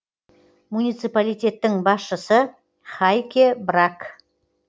муниципалитеттің басшысы хайке брак